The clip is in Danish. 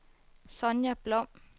Sonja Blom